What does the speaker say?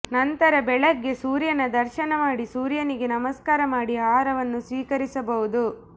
ನಂತರ ಬೆಳಗ್ಗೆ ಸೂರ್ಯನ ದರ್ಶನ ಮಾಡಿ ಸೂರ್ಯನಿಗೆ ನಮಸ್ಕಾರ ಮಾಡಿ ಆಹಾರವನ್ನು ಸ್ವೀಕರಿಸಬಹುದು